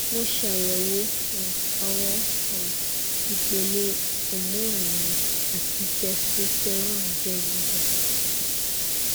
mo ṣayẹwo um awọn um ipele hormone mi ati testosterone jẹ giga